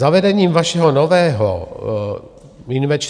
Zavedením vašeho nového